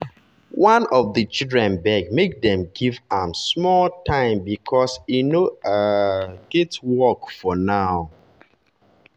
one of the children beg make dem give am time small because e no um get work for now